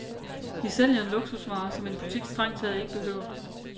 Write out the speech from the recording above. Vi sælger en luksusvare, som en butik strengt taget ikke behøver.